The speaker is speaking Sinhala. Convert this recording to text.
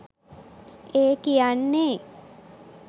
ඒ කියන්නේ